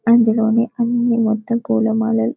అందులోని అన్ని మొత్తం పులా మాలలు --